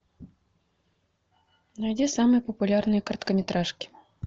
найди самые популярные короткометражки